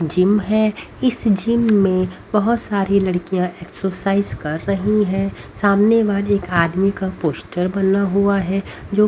gym है इस gym में बहुत सारी लड़कियां एक्सरसाइज कर रही है सामने मा एक आदमी का पोस्टर बना हुआ है जो--